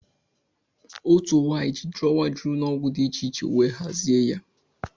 Otu nwanyị ji drọwa juru n'ọgwụ dị iche iche wee hazie ya